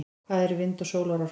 hvað eru vind og sólarorka